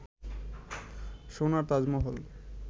সোনার তাজমহল